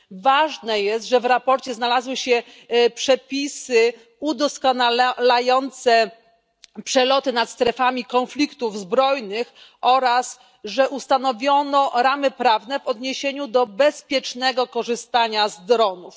Ważne jest, że w sprawozdaniu znalazły się przepisy udoskonalające przeloty nad strefami konfliktów zbrojnych oraz że ustanowiono ramy prawne w odniesieniu do bezpiecznego korzystania z dronów.